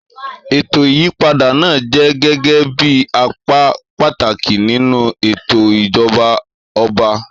ètò ìyípadà náà jẹ́ gẹ́gẹ́ bí apá pàtàkì nínú ètò ìjọba ọba.